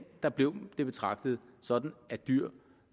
der blev det betragtet sådan at dyr